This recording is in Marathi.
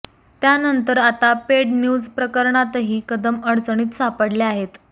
त्यानंतर आता पेड न्यूज प्रकरणातही कदम अडचणीत सापडले आहेत